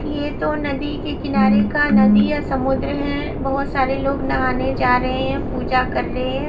ये तो नदी के किनारे का नदी या समुद्र है वो सारे लोग नहाने जा रहे हैं पूजा कर रहे हैं।